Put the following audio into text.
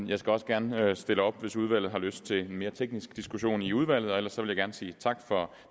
jeg skal også gerne stille op hvis udvalget har lyst til en mere teknisk diskussion i udvalget ellers vil jeg gerne sige tak for